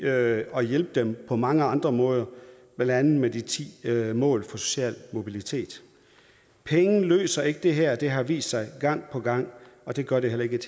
at hjælpe dem på mange andre måder blandt andet med de ti mål for social mobilitet penge løser ikke det her det har vist sig gang på gang og det gør det heller ikke